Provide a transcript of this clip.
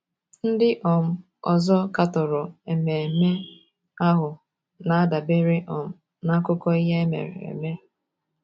Ndị um ọzọ katọrọ ememe ahụ na - adabere um n’akụkọ ihe mere eme.